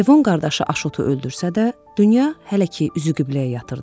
Levon qardaşı Aşotu öldürsə də, dünya hələ ki üzü qibləyə yatırdı.